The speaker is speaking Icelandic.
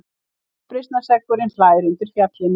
Uppreisnarseggurinn hlær undir fjallinu.